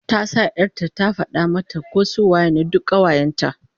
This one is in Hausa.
Ta sa 'yar ta ta fada mata ko su waye duk kawayen ta